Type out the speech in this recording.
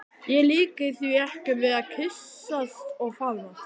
Ég líki því ekki við að kyssast og faðmast.